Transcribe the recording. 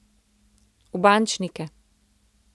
V bančnike.